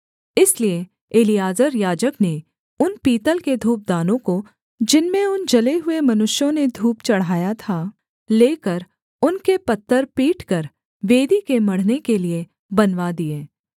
इसलिए एलीआजर याजक ने उन पीतल के धूपदानों को जिनमें उन जले हुए मनुष्यों ने धूप चढ़ाया था लेकर उनके पत्तर पीटकर वेदी के मढ़ने के लिये बनवा दिए